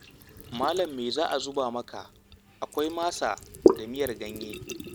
Malam me za a zuba maka? Akwai masa da miyar ganye.